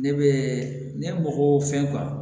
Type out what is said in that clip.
Ne bɛ ne mɔgɔ fɛn